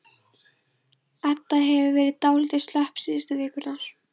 Edda hefur verið dálítið slöpp síðustu vikurnar.